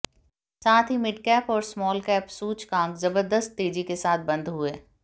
साथ ही मिडकैप और स्मॉलकैप सूचकांक जबरदस्त तेजी के साथ बंद हुए